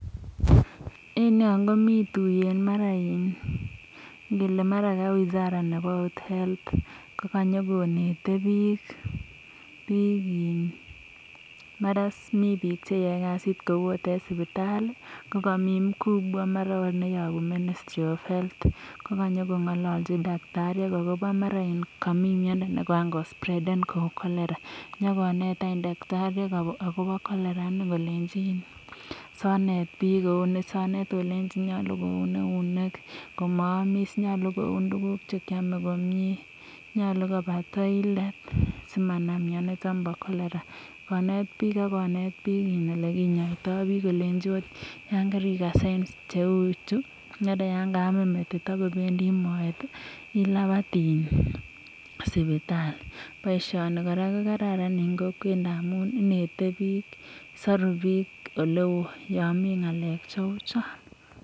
En yon komi tuiyet, mara iin ngele mara ka wizara nebo ot health ko kanyokonete biik, mara iss mi biik cheyoe kasit kou ot en sipitali ko komi mkubwa mara ot neyobu ministry of health ko kanyokong'ololchin tagitariek agobo mara komi miondo ne koran ko spreden kou cholera inyokonet any daktariek agobo cholera ini kolenji asi onet biik kou ni, asi onet olenji nyolu koun eunek komaamis, nyolu koun tuguk che kyome komie, nyolu koba toilet simanam mionito bo cholera konet biik, ak konet biik ole kinyoito biik, kolenchi ot yan kerikas signs cheu chu mara yan kaamin metit ak kobendi moet ilapat sipitali, boisioni kora ko karan en kokwet ndamun inete biik, soru biik ole oo yon mi ng'alek cheu chon.